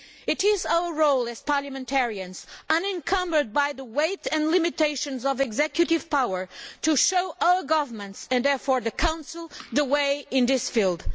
It is our role as parliamentarians, unencumbered by the weight and limitations of executive power, to show our governments, and therefore the Council, the way in this field.